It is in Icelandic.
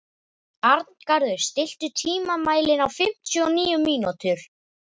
Arngarður, stilltu tímamælinn á fimmtíu og níu mínútur.